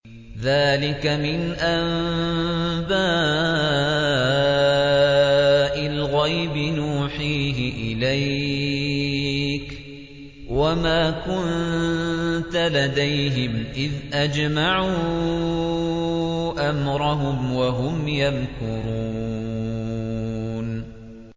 ذَٰلِكَ مِنْ أَنبَاءِ الْغَيْبِ نُوحِيهِ إِلَيْكَ ۖ وَمَا كُنتَ لَدَيْهِمْ إِذْ أَجْمَعُوا أَمْرَهُمْ وَهُمْ يَمْكُرُونَ